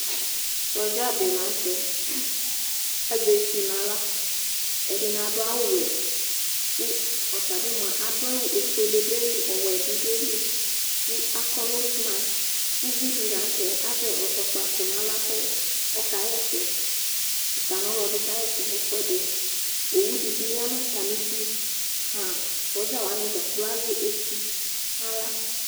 Sɔdzadi la nu tɛ azɛ etu naɣla ɛdini adu awu wɛ ɔtabi adu awu ku ofuele du ayili ɔwɛ bi du ayili ku akɔ lusmas uvidi la nu tɛ azɛ ɛzɔkpako nu aɣla ku ɔkaɣa ɛsɛ uta nu ɔlɔdi kawa ɛsɛ nu ɛfuɛdi owu di yanu atamidu sɔdza wani kplo azɛ etu nala